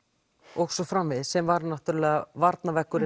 og svo framvegis sem var náttúrulega